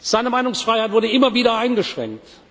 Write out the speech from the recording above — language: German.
Seine Meinungsfreiheit wurde immer wieder eingeschränkt.